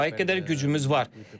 Kifayət qədər gücümüz var.